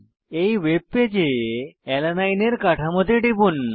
এই ওয়েবপেজে অ্যালানিন এর কাঠামোতে টিপুন